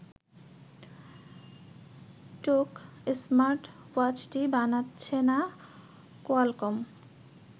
টোক স্মার্টওয়াচটি বানাচ্ছে না কোয়ালকম